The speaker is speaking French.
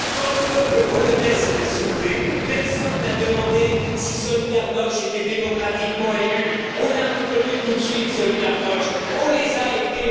Quand le peuple polonais s'était soulevé, personne n'a demandé si Solidarność était démocratiquement élu, on a reconnu tout de suite Solidarność, on les a aidés.